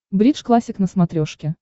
бридж классик на смотрешке